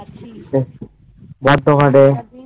দিন ভালো